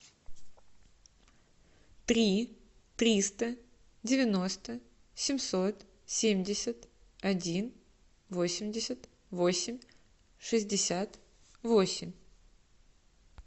три триста девяносто семьсот семьдесят один восемьдесят восемь шестьдесят восемь